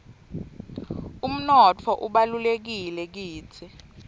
umnotfo ubalulekile kitsi